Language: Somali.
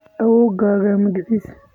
Awoowgaa magacis?